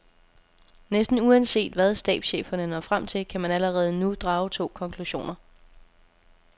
Næsten uanset hvad stabscheferne når frem til, kan man allerede nu drage to konklusioner.